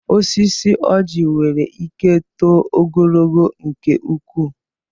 Osisi ọjị nwere ike too ogologo nke ukwu.